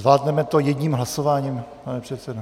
Zvládneme to jedním hlasováním, pane předsedo?